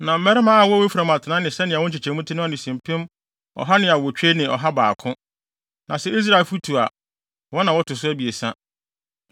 Na mmarima a wɔwɔ Efraim atenae ne sɛnea wɔn nkyekyɛmu te no ano si mpem ɔha ne awotwe ne ɔha baako (108,100). Na sɛ Israelfo tu a, wɔn na wɔto so abiɛsa.